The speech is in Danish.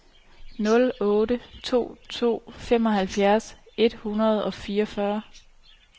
nul otte to to femoghalvfems et hundrede og fireogfyrre